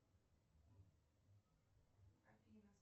афина